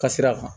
Ka sira kan